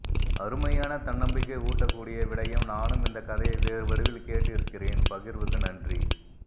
அருமையான தன்நம்பிக்கை ஊட்டக் கூடிய விடயம் நானும் இந்தக் கதையை வேறு வடிவில் கேட்டு இருக்கிறேன் பகிர்வுக்கு நன்றி